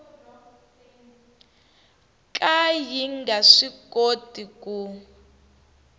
ka yi nga swikoti ku